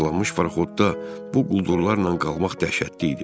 Parçalanmış paraxodda bu quldurlarla qalmaq dəhşətli idi.